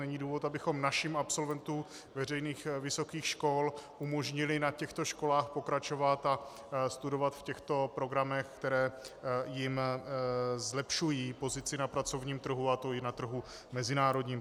Není důvod, abychom našim absolventům veřejných vysokých škol neumožnili na těchto školách pokračovat a studovat v těchto programech, které jim zlepšují pozici na pracovním trhu, a to i na trhu mezinárodním.